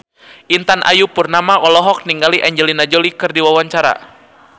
Intan Ayu Purnama olohok ningali Angelina Jolie keur diwawancara